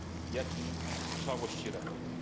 jak i trwałości reform.